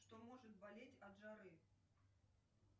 что может болеть от жары